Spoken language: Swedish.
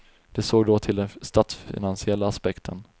De såg då till den statsfinansiella aspekten.